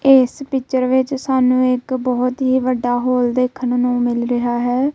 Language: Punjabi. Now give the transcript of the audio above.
ਇੱਸ ਪਿਕਚਰ ਵਿੱਚ ਸਾਨੂੰ ਇੱਕ ਬੋਹਤ ਹੀ ਵੱਡਾ ਹੋਲ ਦੇਖਣ ਨੂੰ ਮਿਲ ਰਿਹਾ ਹੈ।